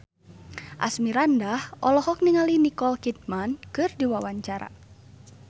Asmirandah olohok ningali Nicole Kidman keur diwawancara